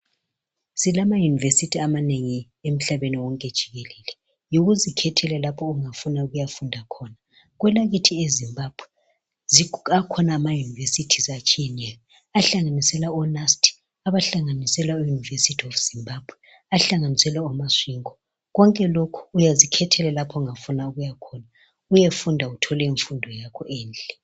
Silamayunevithi amanengi emhlabeni wonke jikelele yikuzikhethela lapho ofuna ukuyafunda khona. Kwelakithi eZimbabwe akhona amayunivesithi atshiyeneyo ahlanganisela oNUST, ahlanganisela oUniversity of Zimbabwe, ahlanganisela oMasvingo konke lapha yikuzikhethela lapho ofuna ukuyafunda khona.